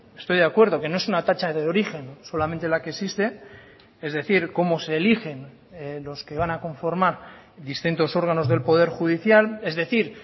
estoy de acuerdo que no es una tacha de origen solamente la que existe es decir cómo se eligen los que van a conformar distintos órganos del poder judicial es decir